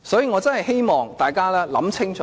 我真的希望大家想清楚。